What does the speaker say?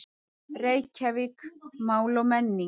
Reykjavík: Mál og menning.